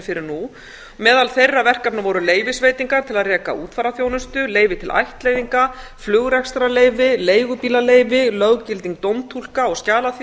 fyrir nú meðal þeirra verkefna voru leyfisveitingar til að reka útfararþjónustu leyfi til ættleiðinga flugrekstrarleyfi leigubílaleyfi löggilding dómtúlka og